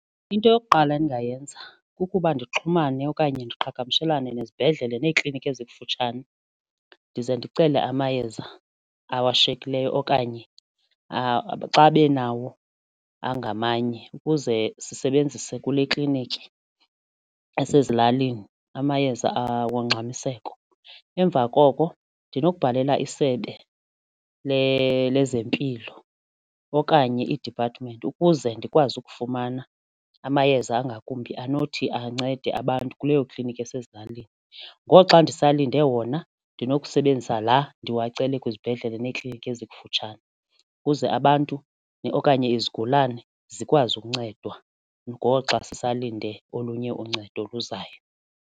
Into yokuqala endingayenza kukuba ndixhumane okanye ndiqhagamshelane nezibhedlele neekliniki ezikufutshane ndize ndicele amayeza awashiyekileyo okanye xa benawo angamanye ukuze sisebenzise kule kliniki esezilalini amayeza ongxamiseko. Emva koko ndinokubhalela iSebe lezeMpilo okanye i-department ukuze ndikwazi ukufumana amayeza angakumbi anothi ancede abantu kuleyo kliniki esezilalini. Ngoxa ndisalinde wona ndinokusebenzisa laa ndiwacela kwizibhedlele neekliniki ezikufutshane ukuze abantu okanye izigulane zikwazi ukuncedwa ngoxa zisalinde olunye uncedo oluzayo.